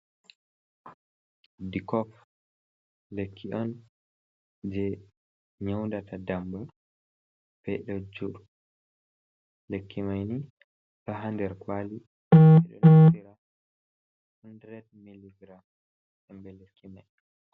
Dikop, lekki on je nyaudata ndamba beɗojuru lekki maini taha nder kwali edo notira 1 mg ɗum ɓeɗduki.